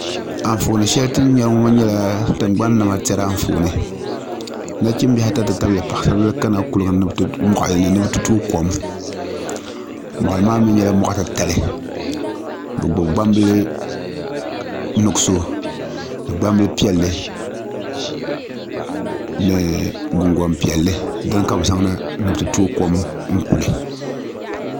Anfooni shɛli ti ni nyɛ ŋo nyɛla tingbani niɛma tiɛri Anfooni nachimbili mini paɣarasiri bili kana kuligi ni ni bi ti tooi kom moɣali maa mii nyɛla moɣa titali bi gbubi gbambili nuɣso ni gbambili piɛlli ni gungoŋ piɛlli dini ka bi zaŋna ni bi tooi tooi kom kuli